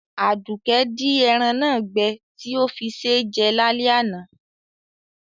Àdùkẹ́ di eran náà gbẹ ti o fí sé jẹ lálẹ́ àná